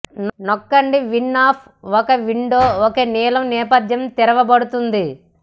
నొక్కండి win F ఒక window ఒక నీలం నేపధ్యం తెరవబడుతుంది